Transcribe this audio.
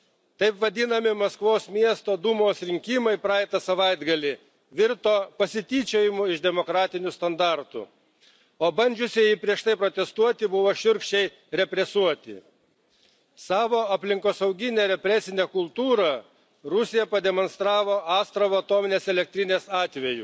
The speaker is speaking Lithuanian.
Taip vadinami Maskvos miesto Dūmos rinkimai praeitą savaitgalį virto pasityčiojimu iš demokratinių standartų, o bandžiusieji prieš tai protestuoti buvo šiurkščiai represuoti. Savo aplinkosauginę represinę kultūrą Rusija pademonstravo Astravo atominės elektrinės atveju,